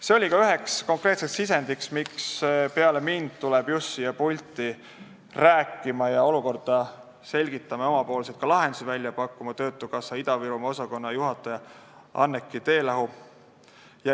See oli ka üks konkreetseid sisendeid, miks peale mind tuleb siia pulti rääkima, olukorda selgitama ja ka oma lahendusi pakkuma töötukassa Ida-Virumaa osakonna juhataja Anneki Teelahk.